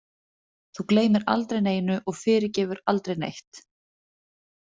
Þú gleymir aldrei neinu og fyrirgefur aldrei neitt.